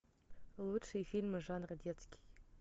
лучшие фильмы жанра детский